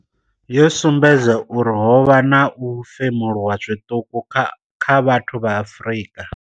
Yo sumbedza uri ho vha na u femuluwa zwiṱuku kha vhathu vha Afrika.